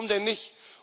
Warum denn nicht?